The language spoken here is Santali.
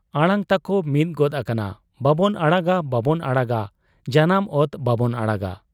ᱟᱲᱟᱝ ᱛᱟᱠᱚ ᱢᱤᱫ ᱜᱚᱫ ᱟᱠᱟᱱᱟ 'ᱵᱟᱵᱚᱱ ᱟᱲᱟᱜᱟ ᱵᱟᱵᱚᱱ ᱟᱲᱟᱜᱟ, ᱡᱟᱱᱟᱢ ᱚᱛ ᱵᱟᱵᱚᱱ ᱟᱲᱟᱜᱟ ᱾